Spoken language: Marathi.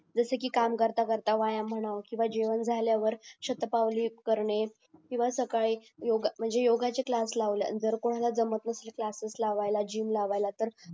जसे कि काम करतात व्यायाम म्हणावं जेवण झाल्यावर शतपावली युजे करणे किंवा सकाळी योगाचे क्लास लावले जर कोणला जमत नसेल तर क्लासेस लावायला जिम लावायला